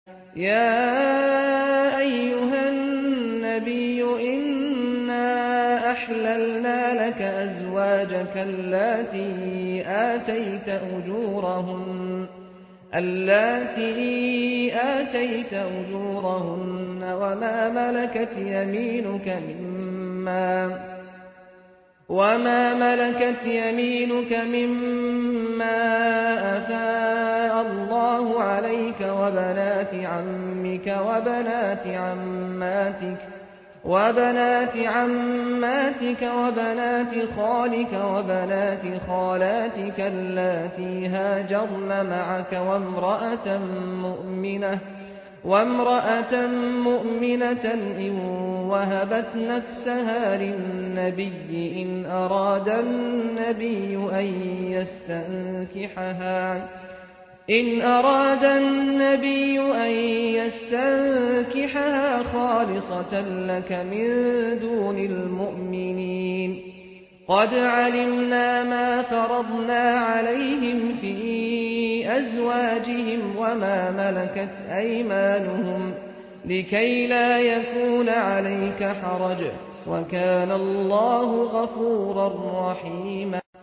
يَا أَيُّهَا النَّبِيُّ إِنَّا أَحْلَلْنَا لَكَ أَزْوَاجَكَ اللَّاتِي آتَيْتَ أُجُورَهُنَّ وَمَا مَلَكَتْ يَمِينُكَ مِمَّا أَفَاءَ اللَّهُ عَلَيْكَ وَبَنَاتِ عَمِّكَ وَبَنَاتِ عَمَّاتِكَ وَبَنَاتِ خَالِكَ وَبَنَاتِ خَالَاتِكَ اللَّاتِي هَاجَرْنَ مَعَكَ وَامْرَأَةً مُّؤْمِنَةً إِن وَهَبَتْ نَفْسَهَا لِلنَّبِيِّ إِنْ أَرَادَ النَّبِيُّ أَن يَسْتَنكِحَهَا خَالِصَةً لَّكَ مِن دُونِ الْمُؤْمِنِينَ ۗ قَدْ عَلِمْنَا مَا فَرَضْنَا عَلَيْهِمْ فِي أَزْوَاجِهِمْ وَمَا مَلَكَتْ أَيْمَانُهُمْ لِكَيْلَا يَكُونَ عَلَيْكَ حَرَجٌ ۗ وَكَانَ اللَّهُ غَفُورًا رَّحِيمًا